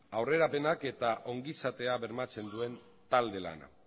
aurrerapenak eta ongizatea bermatzen duen talde lana